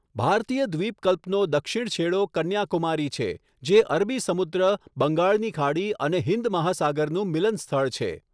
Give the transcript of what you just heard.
ભારતીય દ્વીપકલ્પનો દક્ષિણ છેડો કન્યાકુમારી છે, જે અરબી સમુદ્ર, બંગાળની ખાડી અને હિંદ મહાસાગરનું મિલન સ્થળ છે.